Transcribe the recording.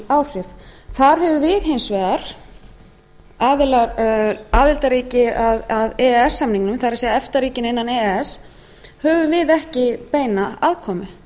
áhrif þar höfum við hins vegar aðildarríki að e e s samningnum það er efta ríkin innan e e s höfum við ekki beina aðkomu